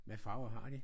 Hvad farver har de?